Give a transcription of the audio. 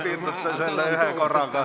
Ma loodan, et piirdute kahe minutiga.